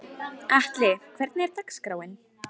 Atli, hvernig er dagskráin?